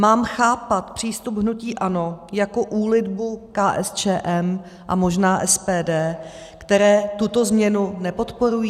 Mám chápat přístup hnutí ANO jako úlitbu KSČM a možná SPD, které tuto změnu nepodporují?